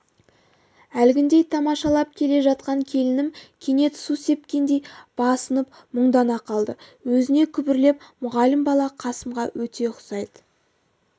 әлгіндей тамашалап келе жатқан келінім кенет су сепкендей басынып мұңдана қалды өзіне күбірлеп мұғалім бала қасымға өте ұқсайды